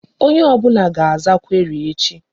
Onye ọbụla ga-aza query echi.